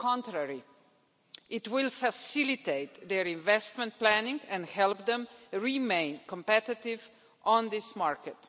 On the contrary, it will facilitate their investment planning and help them remain competitive in this market.